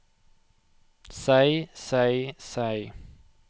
seg seg seg